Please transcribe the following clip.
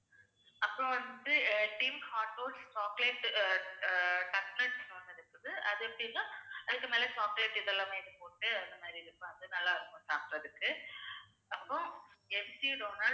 அப்புறம் வந்து div hauntoll chocolate அஹ் taklas வந்து இருக்குது. அது எப்படின்னா அதுக்கு மேல chocolate இதெல்லாமே போட்டு அந்த மாதிரி இருக்கும் அது நல்லா இருக்கும் சாப்பிடறதுக்கு அப்புறம் empty donald